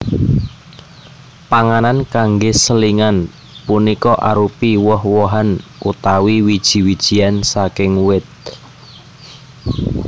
Panganan kanggé selingan punika arupi woh wohan utawi wiji wijian saking wit